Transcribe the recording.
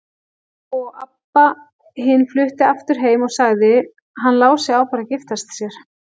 Og Abba hin flutti aftur heim og sagði: Hann Lási á bara að giftast sér.